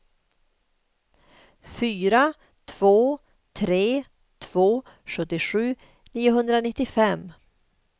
fyra två tre två sjuttiosju niohundranittiofem